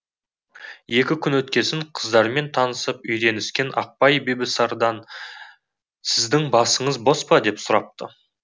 екі күн өткесін қыздармен танысып үйреніскен ақбай бибісарадан сіздің басыңыз бос па деп сұрапты